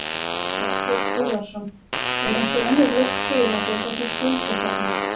Þorbjörn Þórðarson: Er einhver önnur lausn til, af því að þessi skuld er þarna?